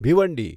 Bhiwandi